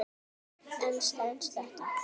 En stenst þetta?